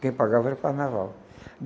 Quem pagava era carnaval.